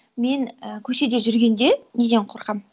мен і көшеде жүргенде неден қорқамын